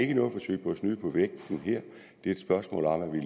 snyde på vægten her det er et spørgsmål om at vi